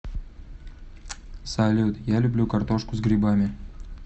салют я люблю картошку с грибами